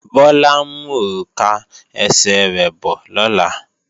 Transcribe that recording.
Bọ́lá ń mú òrùka ẹsẹ̀ rẹ̀ bọ̀ lọ́la